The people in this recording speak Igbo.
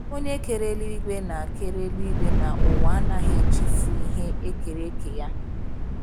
Onye kere eluigwe na kere eluigwe na ụwa anaghị echefu ihe e kere eke Ya.